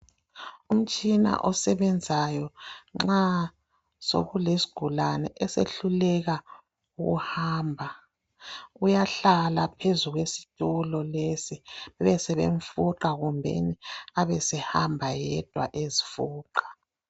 Umtshina osebenzayo nxa sokulesigulane esehluleka ukuhamba. Uyahlala phezu kwesitulo lesi bebesebemfuqa kumbeni abesehamba yedwa ezifuqa.